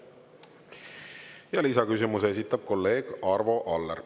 Ja lisaküsimuse esitab kolleeg Arvo Aller.